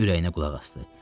Ürəyinə qulaq asdı.